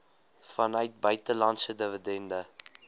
vanuit buitelandse dividende